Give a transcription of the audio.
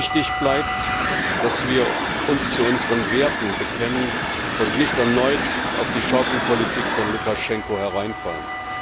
Wichtig bleibt, dass wir uns zu unseren Werten bekennen und nicht erneut auf die Schaukelpolitik von Lukaschenko hereinfallen.